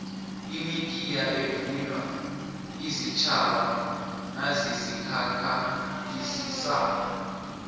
imitiya evunywa ziintjhaba nazizikhakhazisako